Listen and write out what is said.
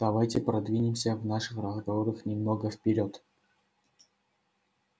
давайте продвинемся в наших разговорах немного вперёд